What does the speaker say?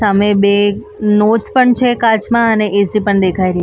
સામે બે પણ છે કાચમાં અને એસી પણ દેખાઈ રહ્યું--